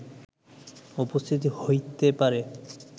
উপস্থিত হইতে পারে